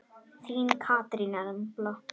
Þín Katrín Embla.